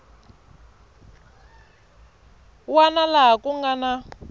wana laha ku nga na